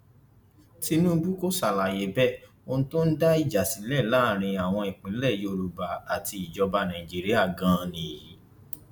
tinubu kò ṣàlàyé bẹẹ ohun tó ń dá ìjà sílẹ láàrin àwọn ìpínlẹ yorùbá àti ìjọba nàìjíríà ganan nìyí